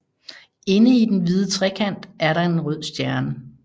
Inde i den hvide trekant er en rød stjerne